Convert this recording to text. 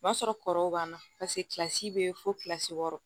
O b'a sɔrɔ kɔrɔw b'an na paseke kilasi bɛ fosi wɔɔrɔ